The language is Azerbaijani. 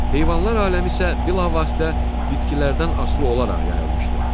Heyvanlar aləmi isə bilavasitə bitkilərdən asılı olaraq yayılmışdı.